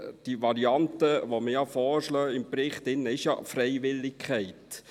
Die Variante, die man im Bericht vorschlägt, ist ja Freiwilligkeit.